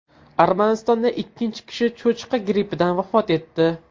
Armanistonda ikkinchi kishi cho‘chqa grippidan vafot etdi.